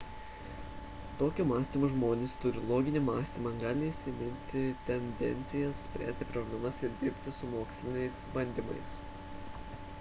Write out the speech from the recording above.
tokio mąstymo žmonės turi loginį mąstymą gali įsiminti tendencijas spręsti problemas ir dirbti su moksliniais bandymais